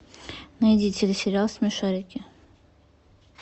найди телесериал смешарики